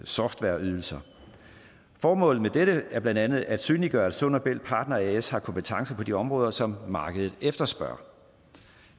softwareydelser formålet med dette er blandt andet at synliggøre at sund og bælt partner as har kompetencer på de områder som markedet efterspørger